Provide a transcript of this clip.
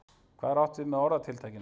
hvað er átt við með orðatiltækinu